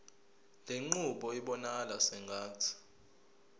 lenqubo ibonakala sengathi